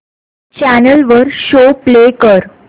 channel वर show play कर